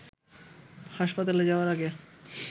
হাসপাতালে যাওয়ার আগে